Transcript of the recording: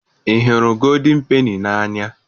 Ị hụrụ gooldin peni n'anya?